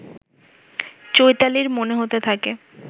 চৈতালীর মনে হতে থাকে